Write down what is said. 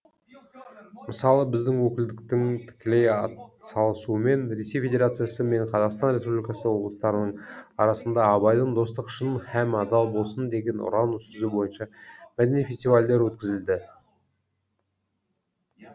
мысалы біздің өкілдіктің тікелей атсалысуымен ресей федерациясы мен қазақстан республикасы облыстарының арасында абайдың достық шын һәм адал болсын деген ұран сөзі бойынша мәдени фестивальдер өткізілді